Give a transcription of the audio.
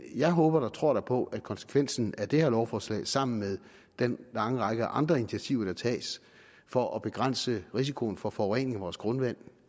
jeg håber og tror da på at konsekvensen af det her lovforslag sammen med den lange række andre initiativer der tages for at begrænse risikoen for forurening af vores grundvand